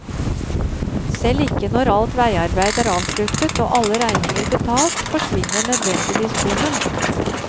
Selv ikke når alt veiarbeid er avsluttet og alle regninger betalt, forsvinner nødvendigvis bommen.